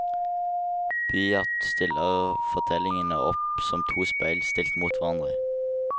Byatt stiller fortellingene opp som to speil stilt opp mot hverandre.